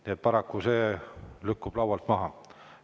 Nii et paraku see lükkub laualt maha.